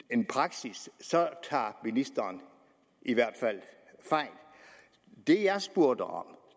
en praksis så tager ministeren i hvert fald fejl det jeg spurgte om